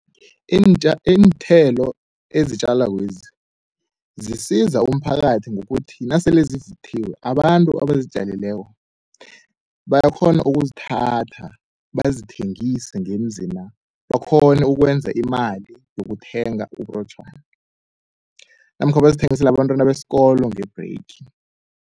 Iinthelo ezitjalakwezi zisiza umphakathi ngokuthi nasele zivuthiwe abantu abazitjalileko bayakghona ukuzithatha bazithengise ngemzina. Bakghone ukwenza imali yokuthenga uburotjhwana namkha bazithengisele abantwana besikolo nge-break.